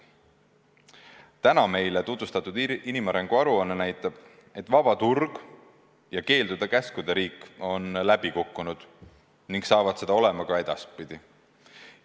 Täna meile tutvustatud inimarengu aruanne näitab, et vaba turg ja keeldude ja käskude riik on läbi kukkunud ning on seda ka edaspidi.